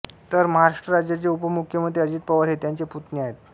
तर महाराष्ट्र राज्याचे उपमुख्यमंत्री अजित पवार हे त्यांचे पुतणे आहेत